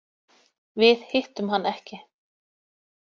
Við hittum hann ekki.